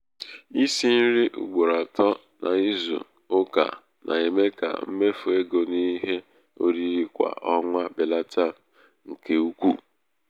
isi nri um ugboro um atọ n'ịzụ ụka na-eme ka mmefu ego n'ihe oriri kwa ọnwa belata nke um ukwu.